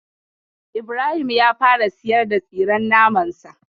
Ibrahim ya fara siyar da tsiren naman Sa.